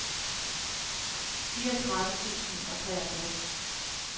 fireogtredive tusind og treogtres